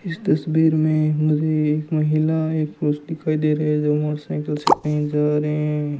इस तस्वीर में मुझे एक महिला एक पुरुष दिखाई दे रहे है जो मोटरसाइकिल से कही जा रहे --